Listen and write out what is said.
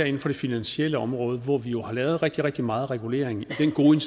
inden for det finansielle område hvor vi jo har lavet rigtig rigtig meget regulering med den gode